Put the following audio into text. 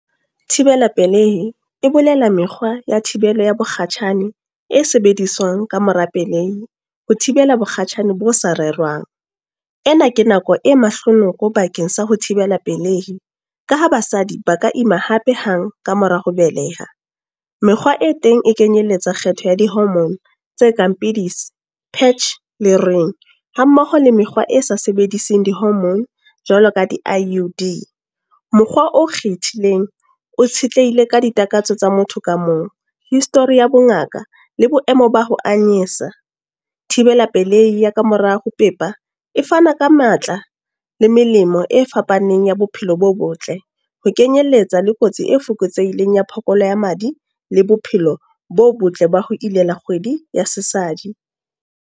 Thibela pelehi. E bolela mekgwa ya thibelo ya mokgatjhane, e sebediswang ka mora pelehi. Ho thibela mokgatjhane bo sa rerwang. Ena ke nako e mahlonoko bakeng sa ho thibela pelehi. Ka ha basadi ba ka ima hape hang, ka mora ho beleha. Mekgwa e teng e kenyelletsa kgetho ya di-hormone, tse kang pidisi, patch le ring. Ha mmoho le mekgwa e sa sebedising di-hormone, jwalo ka di-I_U_D. Mokgwa o kgethileng o tshetlehile ka ditakatso tsa motho ka mong. History ya bongaka la boemo ba ho anyesa. Thibela pelehi ya ka morao ho ho pepa, e fana ka matla le melemo e fapaneng ya bophelo bo botle. Ho kenyelletsa le kotsi e fokotseileng ya phokola ya madi, le bophelo bo botle ba ho ilela kgwedi ya sesadi.